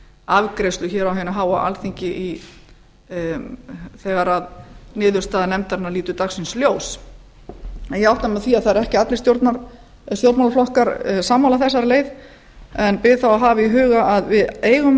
afgreiðslu hér á hinu háa alþingi þegar niðurstaða nefndarinnar lítur dagsins ljós en ég átta mig á því að það eru ekki allir stjórnmálaflokkar sammála þegar leið en bið þá að hafa í huga að við eigum